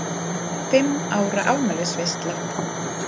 Fimm ára afmælisveisla.